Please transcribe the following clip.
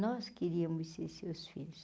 Nós queríamos ser seus filhos.